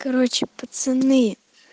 короче пацаны